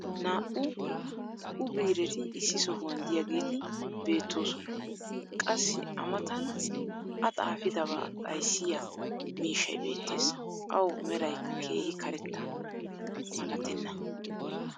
naa"u u biireti issi sohuwan diyaageeti beetoosona. qassi a matan a xaafidibaa xayssiya miishshay beetees. awu meraykka keehi karetta malatenna.